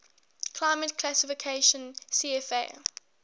climate classification cfa